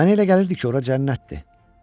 Mənə elə gəlirdi ki, ora cənnətdir.